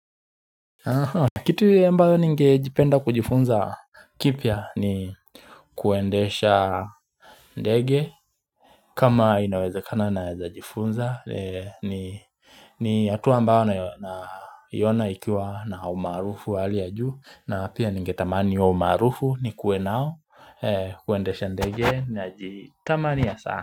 Kitu ya ambayo ningejipenda kujifunza kipya ni kuendesha ndege kama inaweza kana naweza jifunza ni ni hatua ambao na iona ikiwa na umaarufu wa hali ya juu na pia ninge tamani huo umaarufu nikuwe nao kuendesha ndege na jitamania sana.